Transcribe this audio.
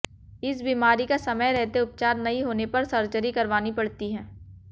इस बीमारी का समय रहते उपचार नहीं होने पर सर्जरी करवानी पड़ती है